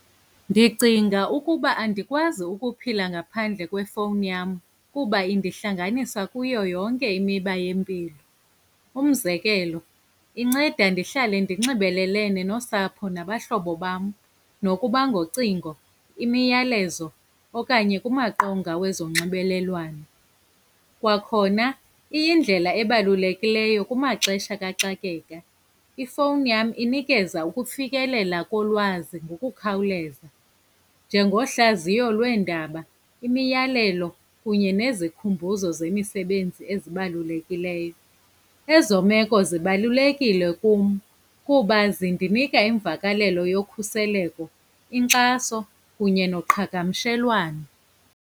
Ndicinga ukuba andikwazi ukuphila ngaphandle kwefowuni yam, kuba indihlanganisa kuyo yonke imiba yempilo. Umzekelo, inceda ndihlale ndinxibelelene nosapho nabahlobo bam, nokuba ngocingo, imiyalezo okanye kumaqonga wezonxibelelwano. Kwakhona iyindlela ebalulekileyo kumaxesha kaxakeka. Ifowuni yam inikeza ukufikelela kolwazi ngokukhawuleza, njengohlaziyo lweendaba, imiyalelo kunye nezikhumbuzo zemisebenzi ezibalulekileyo. Ezo meko zibalulekile kum kuba zindinika imvakalelo yokhuseleko, inkxaso kunye noqhagamshelwano.